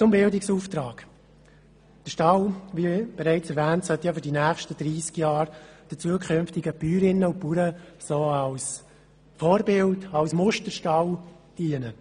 Zum Bildungsauftrag: Der Stall soll – wie erwähnt wurde – in den nächsten 30 Jahren den zukünftigen Bäuerinnen und Bauern als Vorbild- und Musterstall dienen.